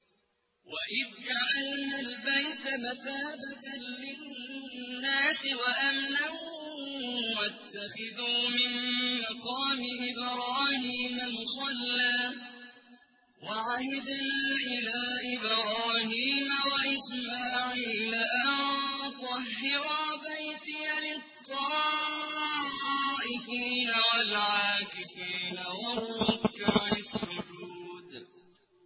وَإِذْ جَعَلْنَا الْبَيْتَ مَثَابَةً لِّلنَّاسِ وَأَمْنًا وَاتَّخِذُوا مِن مَّقَامِ إِبْرَاهِيمَ مُصَلًّى ۖ وَعَهِدْنَا إِلَىٰ إِبْرَاهِيمَ وَإِسْمَاعِيلَ أَن طَهِّرَا بَيْتِيَ لِلطَّائِفِينَ وَالْعَاكِفِينَ وَالرُّكَّعِ السُّجُودِ